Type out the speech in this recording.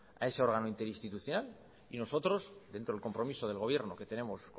a ese órgano interinstitucional y nosotros dentro del compromiso del gobierno que tenemos